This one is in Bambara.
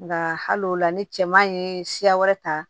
Nka hal'o la ni cɛman ye siya wɛrɛ ta